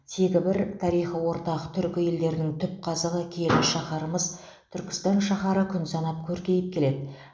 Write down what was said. тегі бір тарихы ортақ түркі елдерінің түп қазығы киелі шаһарымыз түркістан шаһары күн санап көркейіп келеді